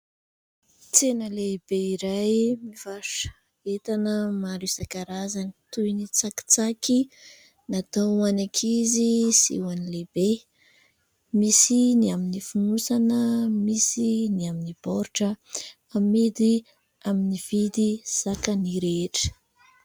Tsena lehibe iray mivarotra entana maro isankarazany toy ny tsakitsaky natao ho any ankizy sy ny lehibe. Misy ny amin'ny fonosana, misy ny amin'ny baoritra. Amidy amin'ny vidy zakany rehetra.